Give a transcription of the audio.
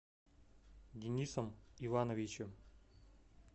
денисом ивановичем